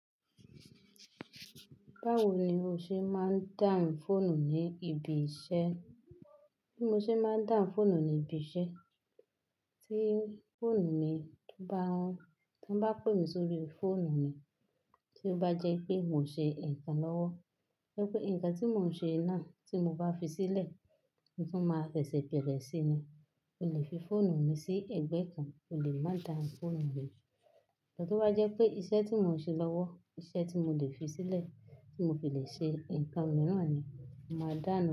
Báwo ni o ṣe máa ń dáhún fóònù ní ibi iṣẹ́? Bí mo ṣe máa ń dáhún fóònù ní ibi iṣẹ́, tí wọ́n bá pè mí sórí fóònù mi, tí ó bá jẹ́ pé n mo ṣe ǹkan lọ́wọ́, nipé ǹkan tí mò ń ṣe náà, tí mo bá fi sílẹ̀ mo tu máa sese bere síni, mo lè fi fóònù mi sí ẹ̀gbẹ́ kan, ó lè má dáà fóònù mi mo. To bá jẹ́ pé iṣẹ́ tí mò ń ṣe lọ́wọ́, iṣẹ́ tí mo lè fi sílẹ̀, tí mo fi lè ṣe ǹkan mìíràn ni, màá dáa nù.